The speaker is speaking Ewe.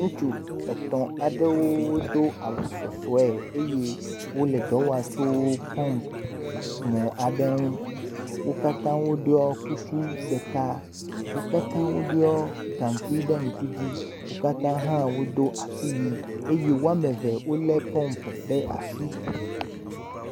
Ŋutsu etɔ̃ aɖewo do awu sɔsɔe eye wole dɔ wɔm tso pɔmp mɔ aɖe ŋu, wo katã woɖɔ kuku ɖeka, wo katã woɖɔ gakui ɖe ŋku dzi, wo katã hã wodo asiwui eye woame eve wolé pɔmp ɖe asi.